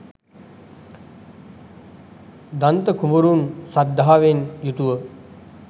දන්ත කුමරුන් ශ්‍රද්ධාවෙන් යුතුව